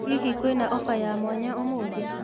Hihi kwĩna ofa ya mwanya ũmũthĩ?